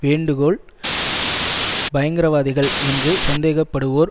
வேண்டுகோள் பயங்கரவாதிகள் என்று சந்தேகப்படுவோர்